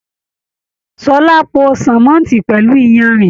Ṣọlá pò sánmọ́ntì pẹlú iyanrìn.